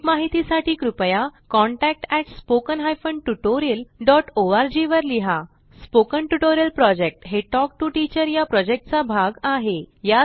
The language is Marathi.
अधिक माहितीसाठी कृपया contact at spoken hyphen tutorial dot org वर लिहा स्पोकन ट्युटोरियल प्रॉजेक्ट हे टॉक टू टीचर या प्रॉजेक्टचा भाग आहे